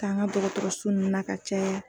T'an ka dɔgɔtɔrɔso nunnu na ka caya.